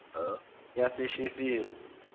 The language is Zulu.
yasesheferi